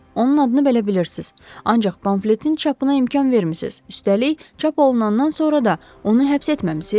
Onun adını belə bilirsiz, ancaq pamfletin çapına imkan vermisiz, üstəlik çap olunandan sonra da onu həbs etməmisiz?